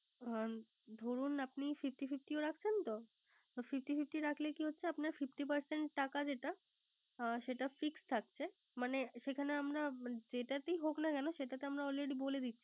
ধরুন আপনি Fifty Fifty রাখছেন তো। তো Fifty fifty রাখলে কি হচ্ছে। আপনার Fifty percent টাকা যেটা সেটা Fixed থাকছে। মানে সেখানে আমরা যেটাতেই হোক না কেনো আমরা Alredy বলে দিচ্ছি